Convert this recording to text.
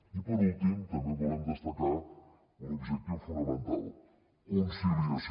i per últim també volem destacar un objectiu fonamental conciliació